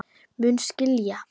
Mun skilja.